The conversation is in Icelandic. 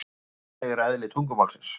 Þannig er eðli tungumálsins.